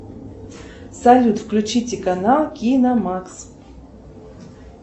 салют включите канал киномакс